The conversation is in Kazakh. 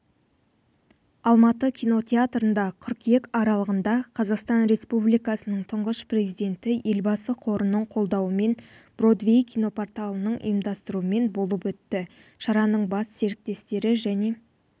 алматыда кинотеатрында қыркүйек аралығында қазақстан республикасының тұңғыш президенті елбасы қорының қолдауымен бродвей кинопорталының ұйымдастыруымен болып өтті шараның бас серіктестері және